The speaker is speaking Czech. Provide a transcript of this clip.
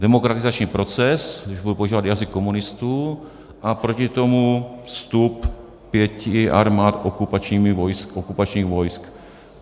Demokratizační proces, když budu používat jazyk komunistů, a proti tomu vstup pěti armád okupačních vojsk.